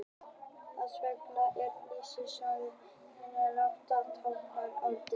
Þess vegna er síðasti stafur kennitölunnar látinn tákna öldina.